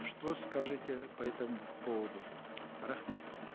что скажете по этому поводу рахмет